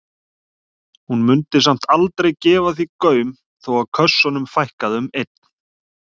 Hún mundi samt aldrei gefa því gaum þó að kössunum fækkaði um einn.